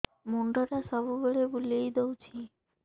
ମୁଣ୍ଡଟା ସବୁବେଳେ ବୁଲେଇ ଦଉଛି